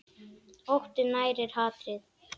Óttinn nærir hatrið.